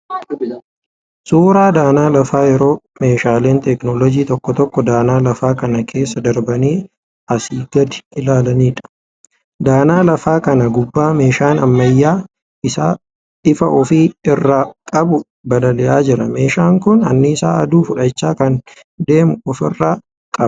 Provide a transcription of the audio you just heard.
Suuraa danaa lafaa yeroo meeshaaleen 'teknooloojjii' tokko tokko danaa lafaa kana keessa darbanii asi gadi ilaaniidha. Danaa lafaa kana gubbaa meeshaan ammayyaa ifaa ofi irraa qabu balali'aa jira. Meeshaan kun annisaa aduu fudhachaa kan deemuu ofi irraa qaba.